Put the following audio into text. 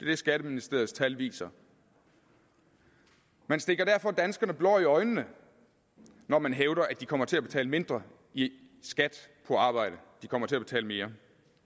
det skatteministeriets tal viser man stikker derfor danskerne blår i øjnene når man hævder at de kommer til at betale mindre i skat på arbejde de kommer til at betale mere